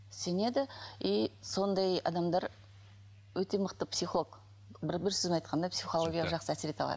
сенеді и сондай адамдар өте мықты психолог бір бір сөзбен айтқанда психологияға жақсы әсер ете алады